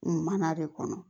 Mana de kɔnɔ